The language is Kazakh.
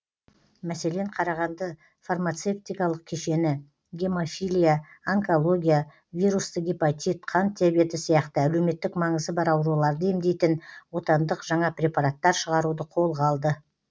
мәселен қарағанды фармацевтикалық кешені гемофилия онкология вирусты гепатит қант диабеті сияқты әлеуметтік маңызы бар ауруларды емдейтін отандық жаңа препараттар шығаруды қолға алды